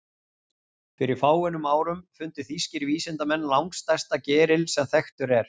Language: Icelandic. Fyrir fáeinum árum fundu þýskir vísindamenn langstærsta geril sem þekktur er.